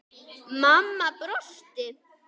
Mamma brosti.